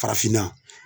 Farafinna